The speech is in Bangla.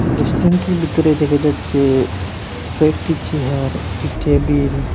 রেস্টুরেন্টটির বিতরে দেখা যাচ্ছে কয়েকটি চেয়ার একটি টেবিল --